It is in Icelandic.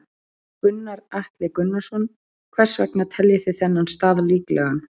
Gunnar Atli Gunnarsson: Hvers vegna teljið þið þennan stað líklegan?